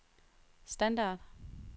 standard